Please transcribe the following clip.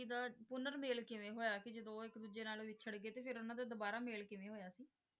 ਦਾ ਪੁਨਰ ਮੇਲ ਕਿਵੇਂ ਹੋਇਆ ਸੀ ਜਦੋਂ ਉਹ ਇੱਕ ਦੂਜੇ ਨਾਲ ਵਿਛੜ ਗਏ ਤੇ ਫਿਰ ਉਹਨਾਂ ਦਾ ਦੁਬਾਰਾ ਮੇਲ ਕਿਵੇਂ ਹੋਇਆ ਸੀ?